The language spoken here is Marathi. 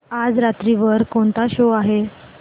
आज रात्री वर कोणता शो आहे